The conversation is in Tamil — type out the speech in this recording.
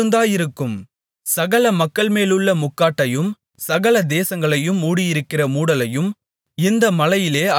சகல மக்கள்மேலுமுள்ள முக்காட்டையும் சகல தேசங்களையும் மூடியிருக்கிற மூடலையும் இந்த மலையிலே அகற்றிப்போடுவார்